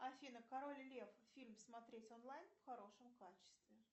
афина король лев фильм смотреть онлайн в хорошем качестве